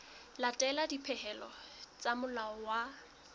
latela dipehelo tsa molao wa